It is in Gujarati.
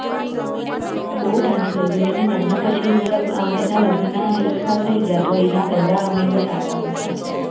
બઉ ટાઈમ થઇ ગયો એના લગ્ન પછી મતલબ એના લગ્નના એક સાલ થઇ ગયા તો એના પહેલા અમે ગયા તા બધા